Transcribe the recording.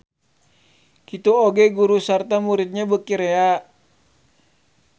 Kitu oge guru sarta muridnya beuki rea.